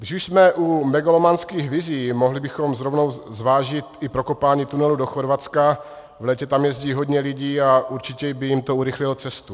Když už jsme u megalomanských vizí, mohli bychom rovnou zvážit i prokopání tunelu do Chorvatska, v létě tam jezdí hodně lidí a určitě by jim to urychlilo cestu.